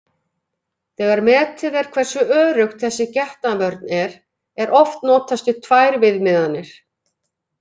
Þegar metið er hversu örugg þessi getnaðarvörn er, er oft notast við tvær viðmiðanir.